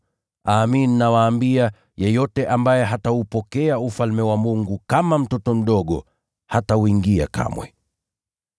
Amin, nawaambia, mtu yeyote asiyeupokea Ufalme wa Mungu kama mtoto mdogo, hatauingia kamwe.”